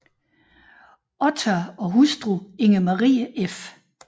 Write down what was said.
Ottar og hustru Inger Marie f